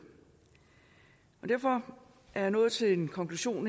derfor er jeg nået til en konklusion